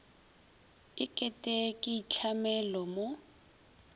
e kete ke itlhamelo mo